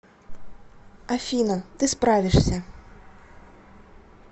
афина ты справишься